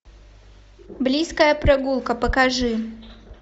близкая прогулка покажи